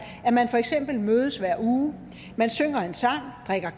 at man for eksempel mødes hver uge man synger en sang drikker